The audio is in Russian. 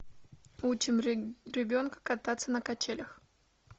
учим ребенка кататься на качелях